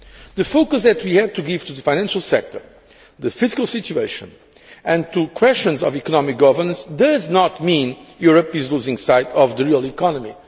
The focus that we had to give to the financial sector, to the fiscal situation and to questions of economic governance does not mean Europe is losing sight of the real economy.